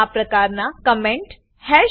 આ પ્રકારના comment hash